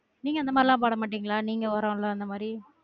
நீங்க அந்த மாதிரிலாம் போட மாட்டிங்களா நீங்க ஒரலாம் அந்த மாதிரி